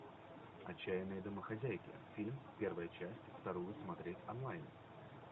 отчаянные домохозяйки фильм первая часть вторую смотреть онлайн